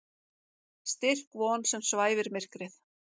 Styrk von sem svæfir myrkrið.